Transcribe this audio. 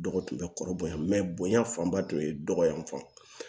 Dɔgɔ tun bɛ kɔrɔbɔrɔ bonya fanba tun ye dɔgɔanfan